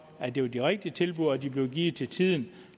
at det er de rigtige tilbud og at de bliver givet til tiden